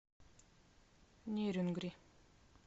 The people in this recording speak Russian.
нерюнгри